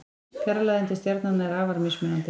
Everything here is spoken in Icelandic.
Fjarlægðin til stjarnanna er afar mismunandi.